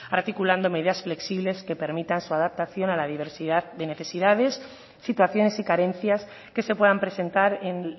articulando medidas flexibles que permitan su adaptación a la diversidad de necesidades situaciones y carencias que se puedan presentar en